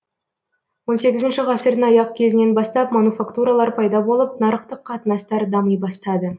он сегізінші ғасырдың аяқ кезінен бастап мануфактуралар пайда болып нарықтық қатынастар дами бастады